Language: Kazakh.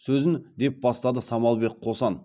сөзін деп бастады самалбек қосан